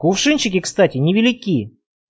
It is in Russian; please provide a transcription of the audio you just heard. кувшинчики кстати невелики